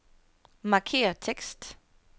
Markér tekst.